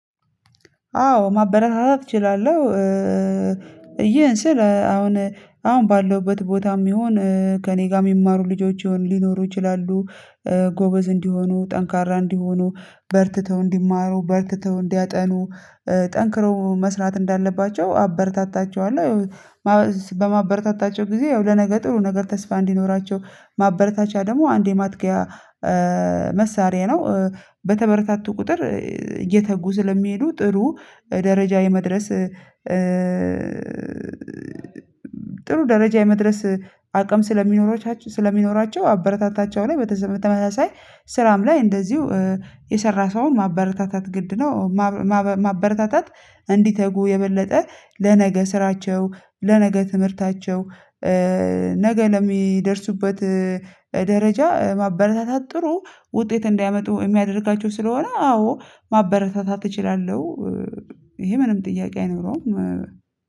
አዎ ማበረታታት እችላለሁ። ይህን ስል አሁን አሁን ባለሁበት ቦታም ይሁን ከእኔ ጋር የሚማሩ ልጆች ይሁን ሊኖሩ ይችላሉ። ጎበዝ እንዲሆኑ ጠንካራ እንዲሆኑ በርትተው እንዲማሩ በርትተው እንዲያጠኑ ጠንክረው መስራት እንዳለባቸው አበረታታቸዋለሁ። በማበረታታቸው ጊዜ ያው ለነገ ጥሩ ነገር ተስፋ እንዲኖራቸው ማበረታቻ ደግሞ አንዴ የማጥቂያ መሳሪያ ነው። በተበረታቱ ቁጥር እየተጉ ስለሚሄዱ ጥሩ ደረጃ የመድረስ ጥሩ ደረጃ የመድረስ አቅም ስለሚኖራቸቸው ስለሚኖራቸው አበረታታቸወለሁ። በተመሳሳይ ስራም ላይ እንደዚሁ የሰራ ሰው ማበረታታት ግድ ነው። ማበረታታት እንዲተጉ የበለጠ ለነገ ስራቸው ለነገ ትምህርታቸው ነገ ለሚደርሱበት ደረጃ ማበረታታት ጥሩ ውጤት እንዳያመጡ የሚያደርጋቸው ስለሆነ አዎ ማበረታታት እችላለሁ። ይሄ ምንም ጥያቄ አይኖረውም።